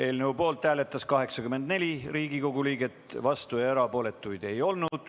Eelnõu poolt hääletas 84 Riigikogu liiget, vastuolijaid ja erapooletuid ei olnud.